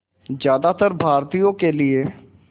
ज़्यादातर भारतीयों के लिए